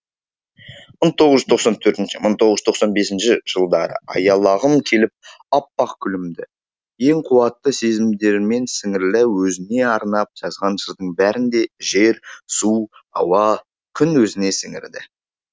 мың тоғыз жүз тоқсан төртінші мың тоғыз жүз тоқсан бесінші жылдары аялағым келіп аппақ гүлімді ең қуатты сезімдермен сіңірлі өзіңе арнап жазған жырдың бәрін де жер су ауа күн өзіне сіңірді